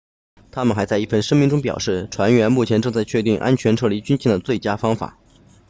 他们还在一份声明中表示船员目前正在确定安全撤离军舰的最佳方法